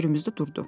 Böyrümüzdə durdu.